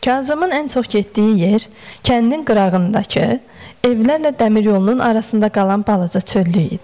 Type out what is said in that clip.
Kazımın ən çox getdiyi yer, kəndin qırağındakı, evlərlə dəmir yolunun arasında qalan balaca çöllük idi.